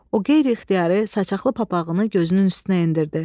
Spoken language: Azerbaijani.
O qeyri-ixtiyari saçaqlı papağını gözünün üstünə endirdi.